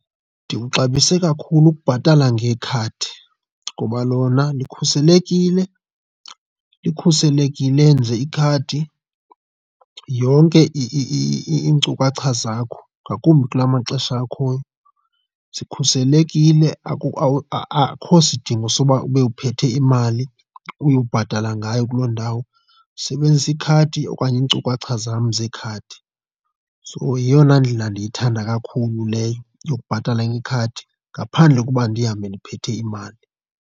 Ndikuxabisa kakhulu ukubhatala ngekhadi ngoba lona likhuselekile. Likhuselekile nje ikhadi yonke iinkcukacha zakho ngakumbi kula maxesha akhoyo zikhuselekile. Akho sidingo soba ube uphethe imali uyobhatala ngayo kuloo ndawo, usebenzisa ikhadi okanye iinkcukacha zam zekhadi. So yeyona indlela ndiyithanda kakhulu leyo yokubhatala ngekhadi ngaphandle koba ndihambe ndiphethe imali.